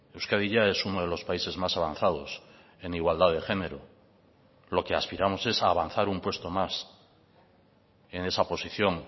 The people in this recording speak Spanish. euskadi ya es uno de los países más avanzados en igualdad de género lo que aspiramos es a avanzar un puesto más en esa posición